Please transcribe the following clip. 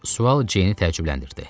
Sual Jeyni təəccübləndirdi.